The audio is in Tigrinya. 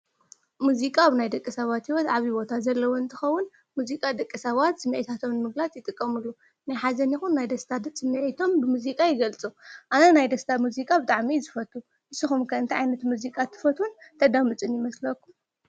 ሙዚቃ አብ ናይ ደቂ ሰባት ሂወት ዓብይ ቦታ ዘለዎ እንትኸውን ሙዚቃ ደቂ ሰባት ስሚዕታቶም ንምግላፅ ይጥቀምሉ ናይ ሓዘን ይኹን ደስታ ስሚዒቶም ብሙዚቃ ይገልፁ። አነ ናይ ደስታ ሙዚቃ ብጣዕሚ እየ ዝፈቱ። ንስኹም ኸ እንታይ ዓይነት ሙዚቃ ትፈትውን ተዳምፁን ይመስለኩም?